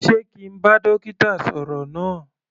Sé kí n bá dókítà sọ̀rọ̀ náà.